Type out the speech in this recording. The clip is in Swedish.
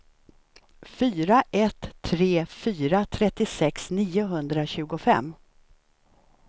fyra ett tre fyra trettiosex niohundratjugofem